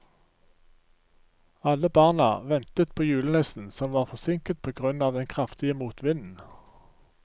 Alle barna ventet på julenissen, som var forsinket på grunn av den kraftige motvinden.